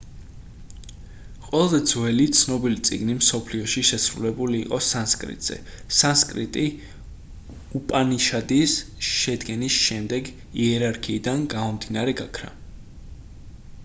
ყველაზე ძველი ცნობილი წიგნი მსოფლიოში შესრულებული იყო სანსკრიტზე სანსკრიტი უპანიშადის შედგენის შემდეგ იერარქიიდან გამომდინარე გაქრა